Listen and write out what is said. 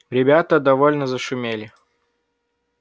ребята довольно зашумели